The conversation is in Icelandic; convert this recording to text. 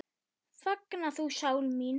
Fagna þú, sál mín.